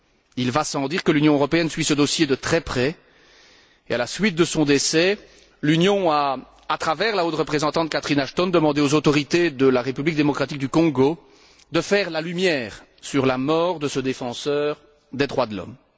Il va sans dire que l'Union européenne suit ce dossier de très près et, à la suite de ce décès, l'Union a, à travers la haute représentante, Catherine Ashton, demandé aux autorités de la République démocratique du Congo, de faire la lumière sur la mort de ce défenseur des droits de l'homme.